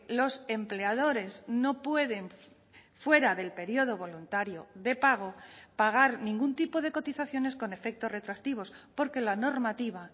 los empleadores no pueden fuera del periodo voluntario de pago pagar ningún tipo de cotizaciones con efectos retroactivos porque la normativa